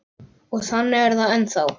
Og þannig er það ennþá.